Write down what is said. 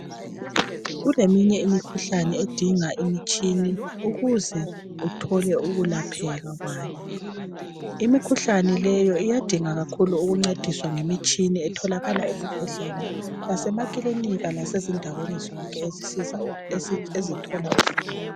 Kuleminye imikhuhlane edinga imitshina ukuze uthole ukulapheka kwayo. Imikhuhlane leyo iyadinga kakhulu ukuncediswa ngemitshina etholakala ezibhedlela lasemakilinika lasendaweni zonke esithola khona uncedo ngezempilakahle.